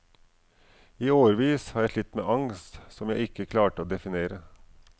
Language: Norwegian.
I årevis har jeg slitt med angst som jeg ikke klarte å definere.